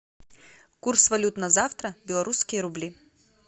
курс валют на завтра белорусские рубли